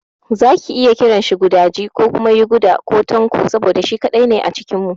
Za ki iya kiranshi gudaji ko kuma yuguda ko Tanko saboda shi kaɗai ne a cikin mu.